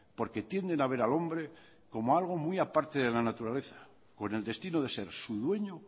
porque tienden a ver al hombre como algo muy a parte de la naturaleza con el destino de ser su dueño